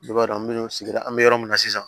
Ne b'a dɔn an bɛ sigida an bɛ yɔrɔ min na sisan